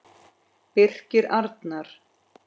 Birgir Arnar.